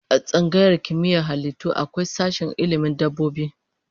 A tsangayar Kimiyyar halittu akwai sashen ilmin dabbobi